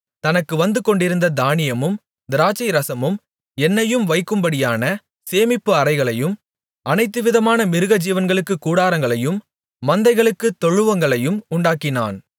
தனக்கு வந்துகொண்டிருந்த தானியமும் திராட்சைரசமும் எண்ணெயும் வைக்கும்படியான சேமிப்பு அறைகளையும் அனைத்துவிதமான மிருகஜீவன்களுக்குக் கூடாரங்களையும் மந்தைகளுக்குத் தொழுவங்களையும் உண்டாக்கினான்